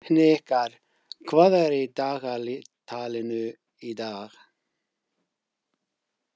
Hnikar, hvað er í dagatalinu í dag?